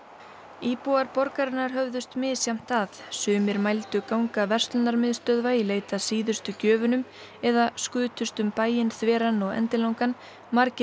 íbúar höfðust misjafnt að sumir mældu ganga verslunarmiðstöðva í leit að síðustu gjöfunum eða skutust um bæinn þveran og endilangan margir